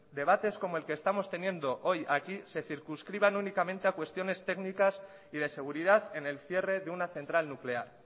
debates como el que estamos teniendo hoy aquí se circunscriban únicamente a cuestiones técnicas y de seguridad en el cierre de una central nuclear